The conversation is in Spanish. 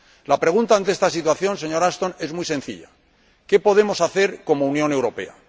La pregunta ante esta situación, señora Ashton, es muy sencilla ¿qué podemos hacer como Unión Europea?